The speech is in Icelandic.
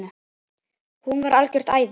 hún var algjört æði.